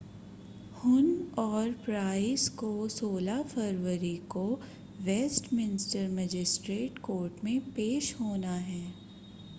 हुन और प्राइस को 16 फरवरी को वेस्टमिंस्टर मजिस्ट्रेट कोर्ट में पेश होना है